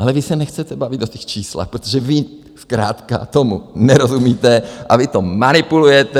Ale vy se nechcete bavit o těch číslech, protože vy zkrátka tomu nerozumíte a vy to manipulujete.